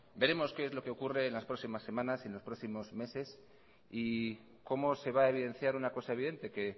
veremos qué es lo que ocurre en las próximas semanas en los próximos meses y como se va a evidenciar una cosa evidente que